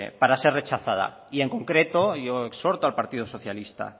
para ser rechazada y en concreto yo exhorto al partido socialista